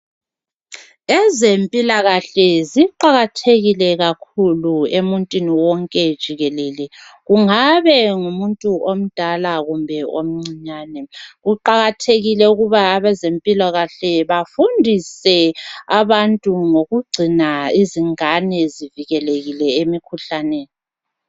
ezempilakahle ziqakathekile kakhulu emuntwini wonke jikelele kungabe ngumuntu omdala kumbe omncinyane kqakathekile ukuba abezempilakahle bafundise abantu ngokugcina abantu bevikelekile emikhuhlaneni